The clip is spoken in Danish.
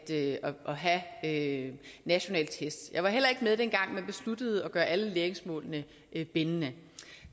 have nationale test eller dengang man besluttede at gøre alle læringsmålene bindende